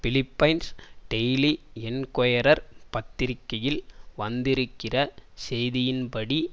Philippines daily Inquirer பத்திரிகையில் வந்திருக்கிற செய்தியின்படி